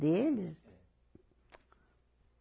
Deles? É